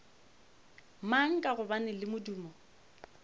mang ka gobane le modumo